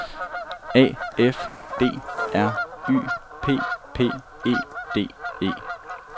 A F D R Y P P E D E